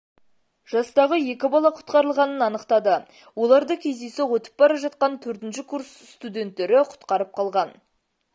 жастағы екі бала құтқарылғанын анықтады оларды кездейсоқ өтіп бара жатқан төртінші курс студенттері құтқарып қалған